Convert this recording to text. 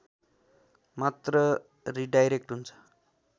मात्र रिडाइरेक्ट हुन्छ